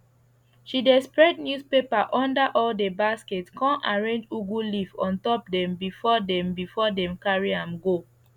she dey spread newspaper under all the basket con arrange ugu leaf ontop dem before dem before dem carry am go